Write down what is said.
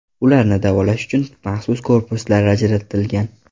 Ularni davolash uchun maxsus korpuslar ajaratilgan.